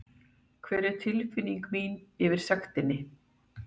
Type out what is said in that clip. Hver er tilfinning mín yfir sektinni?